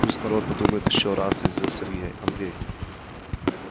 пусть народ подумает ещё раз язвил андрей